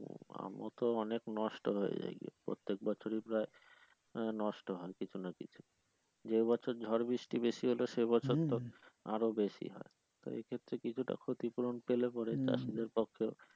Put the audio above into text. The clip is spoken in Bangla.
আমও তো অনেক নষ্ট হয়ে যায় প্রত্যেক বছরে প্রায় আহ নষ্ট হয় কিছু না কিছু যে বছর ঝড় বৃষ্টি বেশি হলে সে বছর তো আরো বেশি সেই ক্ষেত্রে কিছুটা ক্ষতি পূরন পেলে পরে চাষীদের পক্ষে।